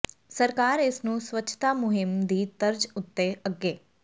ਸਰਕਾਰ ਇਸ ਨੂੰ ਸਵੱਛਤਾ ਮੁਹਿੰਮ ਦੀ ਤਰਜ ਉਤੇ ਅੱਗੇ